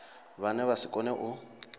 vhane vha si kone u